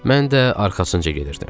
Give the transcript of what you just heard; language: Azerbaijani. Mən də arxasınca gedirdim.